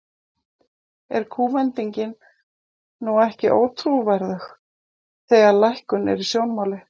Er kúvendingin nú ekki ótrúverðug, þegar að lækkun er í sjónmáli?